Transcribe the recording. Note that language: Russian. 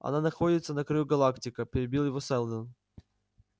она находится на краю галактика перебил его сэлдон